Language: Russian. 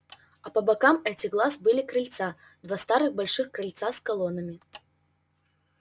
а по бокам этих глаз были крыльца два старых больших крыльца с колоннами